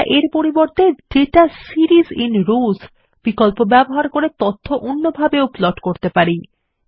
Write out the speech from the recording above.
আমরা এর পরিবর্তে দাতা সিরিস আইএন রোস ব্যবহার করে তথ্য অন্যভাবে প্লট করতে পারি